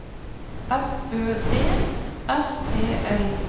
F Ø D S E L